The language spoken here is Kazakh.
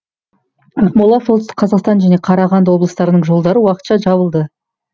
ақмола солтүстік қазақстан және қарағанды облыстарының жолдары уақытша жабылды